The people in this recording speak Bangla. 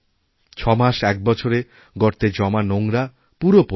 ছমাসএক বছরে গর্তে জমা নোংরা পুরোপচে যায়